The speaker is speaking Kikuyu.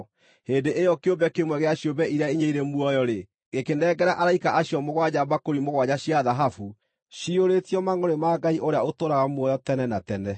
Hĩndĩ ĩyo kĩũmbe kĩmwe gĩa ciũmbe iria inya irĩ muoyo-rĩ, gĩkĩnengera araika acio mũgwanja mbakũri mũgwanja cia thahabu, ciyũrĩtio mangʼũrĩ ma Ngai ũrĩa ũtũũraga muoyo tene na tene.